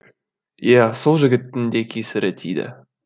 иә сол жігіттің де кесірі тиді